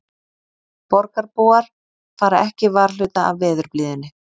Borgarbúar fara ekki varhluta af veðurblíðunni